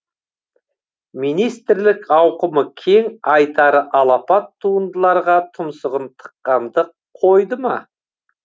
министрлік ауқымы кең айтары алапат туындыларға тұмсығын тыққанды қойды ма